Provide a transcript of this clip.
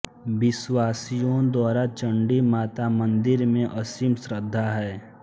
विश्वासियों द्वारा चण्डी माता मंदिर में असीम श्रद्धा है